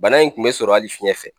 Bana in kun bɛ sɔrɔ hali fiɲɛ fɛ.